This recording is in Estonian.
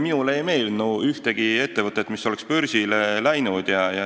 Minule ei meenu ühtegi ettevõtet, mis oleks börsile läinud.